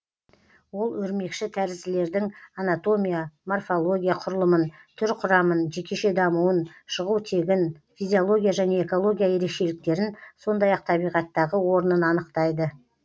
ол өрмекші тәрізділердің анатомия морфология құрылымын түр құрамын жекеше дамуын шығу тегін физиология және экология ерекшеліктерін сондай ақ табиғаттағы орнын анықтайды